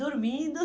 Dormindo.